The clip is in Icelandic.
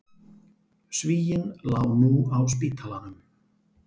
Svíinn lá nú á spítalanum.